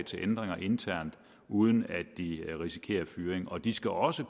til ændringer internt uden at de risikerer fyring og de skal også